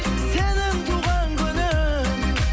сенің туған күнің